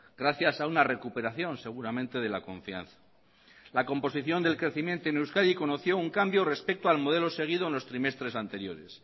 gracias a una recuperación seguramente de la confianza la composición del crecimiento en euskadi conoció un cambio respecto al modelo seguido en los trimestres anteriores